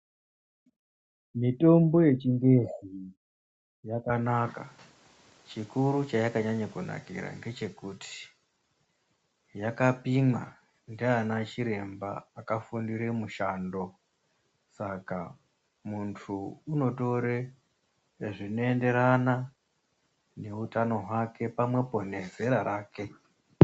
Mitombo yechingezi yakanaka chikuru chayakanakira ngechokuti yakapimwa ndiana chiremba akafundire mushando saka mundu unotore zvinoenderana neutano pamwepo nezera rake.